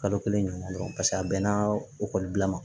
Kalo kelen ɲɔgɔn dɔrɔn paseke a bɛnna ekɔlibila ma